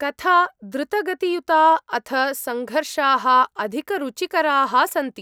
कथा द्रुतगतियुता अथ संघर्षाः अधिकरुचिकराः सन्ति।